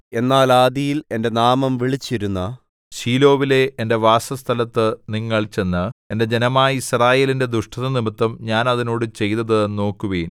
എന്നാൽ ആദിയിൽ എന്റെ നാമം വിളിച്ചിരുന്ന ശീലോവിലെ എന്റെ വാസസ്ഥലത്തു നിങ്ങൾ ചെന്ന് എന്റെ ജനമായ യിസ്രായേലിന്റെ ദുഷ്ടതനിമിത്തം ഞാൻ അതിനോട് ചെയ്തതു നോക്കുവിൻ